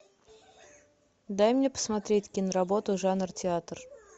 дай мне посмотреть киноработу жанр театр